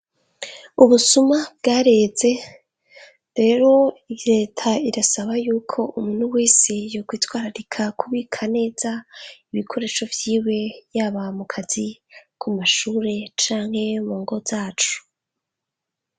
Ubusuma bwareze rero reta irasaba yuko umuntu wese yokwitwararika kubika neza ibikoresho vyiwe, yaba mu kazi, ku mashure, canke mu ngo zacu.